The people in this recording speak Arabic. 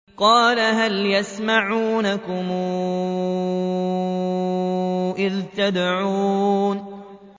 قَالَ هَلْ يَسْمَعُونَكُمْ إِذْ تَدْعُونَ